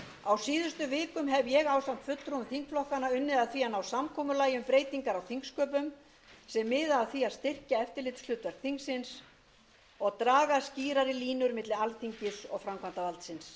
á síðustu vikum hef ég ásamt fulltrúum þingflokkanna unnið að því að ná samkomulagi um breytingar á þingsköpum sem miða að því að styrkja eftirlitshlutverk þingsins og draga skýrari línur milli alþingis og framkvæmdarvaldsins liður